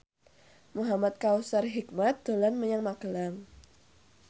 Muhamad Kautsar Hikmat dolan menyang Magelang